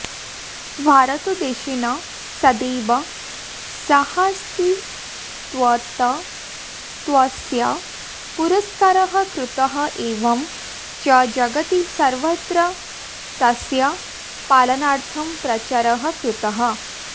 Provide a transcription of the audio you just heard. भारतदेशेन सदैव सहास्तित्वतत्त्वस्य पुरस्कारः कृतः एवं च जगति सर्वत्र तस्य पालनार्थं प्रचारः कृतः